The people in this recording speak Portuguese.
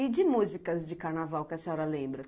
E de músicas de carnaval que a senhora lembra?